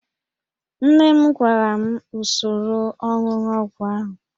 Nne m gwara m usoro ọnụnụ ọgwụ ahụ